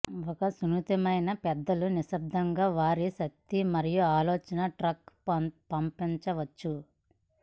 ఒక సున్నితమైన పెద్దలు నిశ్శబ్దంగా వారి శక్తి మరియు ఆలోచనలు ట్రాక్ పంపవచ్చు